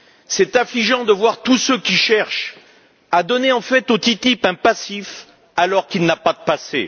C'est affligeant de voir tous ceux qui cherchent à donner au PTCI un passif, alors qu'il n'a pas de passé.